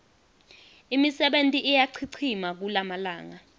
imisebenti iyachichima kulamalanga